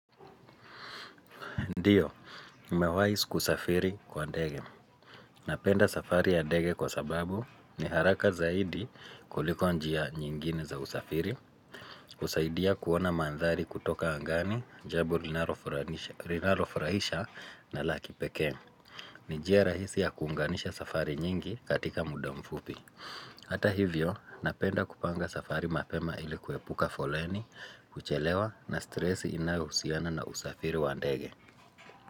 Ndiyo, nimewahi kusafiri kwa ndege. Napenda safari ya ndege kwa sababu ni haraka zaidi kuliko njia nyingine za usafiri. Husaidia kuona mandhari kutoka angani jambo linalofurahisha na la kipekee. Ni njia rahisi ya kuunganisha safari nyingi katika muda mfupi. Hata hivyo, napenda kupanga safari mapema ili kuepuka foleni, kuchelewa na stresi inayohusiana na usafiri wa ndege.